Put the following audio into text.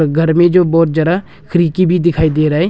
घर में जो बहोत जादा खिड़की भी दिखाई दे रहा है।